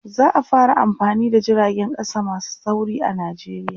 za'a fara amfani da jiragen ƙasa masu sauri a nijeriya